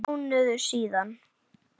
Mánuður síðan?